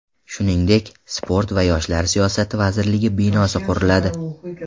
Shuningdek, sport va yoshlar siyosati vazirligi binosi quriladi.